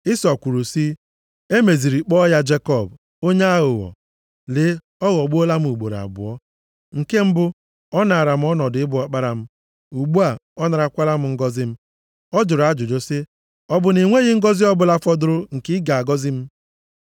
Ịsọ kwuru sị, “E meziri kpọọ ya Jekọb, + 27:36 Jekọb pụtara onye aghụghọ maọbụ onye na-ewere ọnọdụ onye ọzọ nʼike. onye aghụghọ. Lee, ọ ghọgbuola m ugboro abụọ. Nke mbụ, ọ naara m ọnọdụ ịbụ ọkpara m, ugbu a ọ narakwala m ngọzị m.” Ọ jụrụ ajụjụ sị, “Ọ bụ na i nweghị ngọzị ọ bụla fọdụrụ nke ị ga-agọzi m?”